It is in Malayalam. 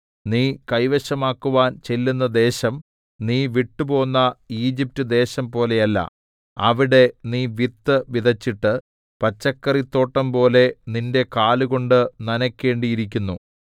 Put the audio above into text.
നീ കൈവശമാക്കുവാൻ ചെല്ലുന്ന ദേശം നീ വിട്ടുപോന്ന ഈജിപ്റ്റ് ദേശംപോലെയല്ല അവിടെ നീ വിത്ത് വിതച്ചിട്ട് പച്ചക്കറിത്തോട്ടം പോലെ നിന്റെ കാലുകൊണ്ട് നനയ്ക്കേണ്ടിയിരുന്നു